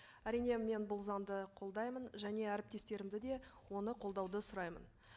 әрине мен бұл заңды қолдаймын және әріптестерімді де оны қолдауды сұраймын